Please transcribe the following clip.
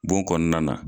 Bon kɔnɔna na